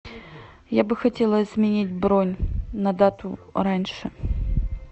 я бы хотела изменить бронь на дату раньше